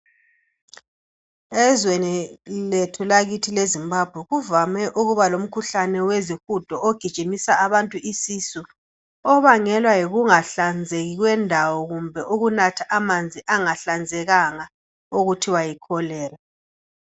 Ezweni lethu lakithi leZimbabwe ukuba lomkhuhlane wezihudo ogijimisa abantu isisu obangelwa yikungahlanzeki kwendawo kumbe ukunatha amanzi angahlanzekanga okuthiwa yiCholera